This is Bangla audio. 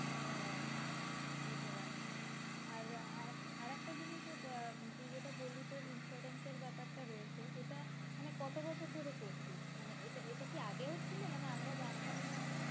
ও আচ্ছা বুঝতে পারলাম আর আহ আরেকটা জিনিস যে তুই যেটা বললি তোর insurance এর বেপার টা রয়েছে সেটা মানে কত বছর ধরে করছিস? মানেএটা এটা কি আগেও ছিল মানে আমরা জানতাম না